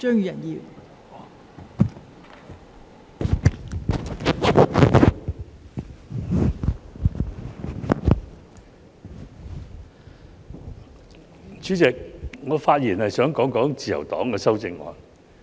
代理主席，我發言想談談自由黨的修正案。